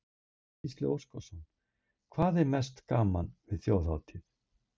Gísli Óskarsson: Hvað er mest gaman við Þjóðhátíð?